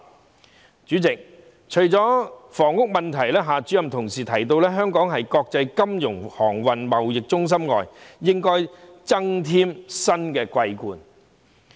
代理主席，除了房屋問題，夏主任同時提到香港應在國際金融、航運、貿易中心以外增添"新的桂冠"。